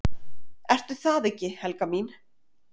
"""Ertu það ekki, Helga mín?"""